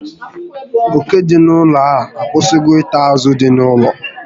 Oke dị n'ụlọ a akwụsịgo ita azụ dị n'ụlọ